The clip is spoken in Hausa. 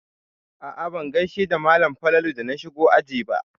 A'a ban gaishe da malam Falalu da na shigo aji ba.